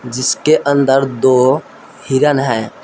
जिसके अंदर दो हिरन हैं।